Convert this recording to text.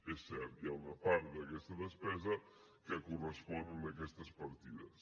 és cert hi ha una part d’aquesta despesa que correspon a aquestes partides